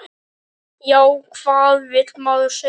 Já, hvað vill maður segja?